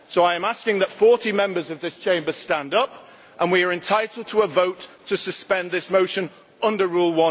So I am asking that 40 Members of this Chamber stand up, and we are entitled to a vote to suspend this sitting under Rule